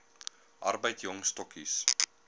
arbeid jong stokkies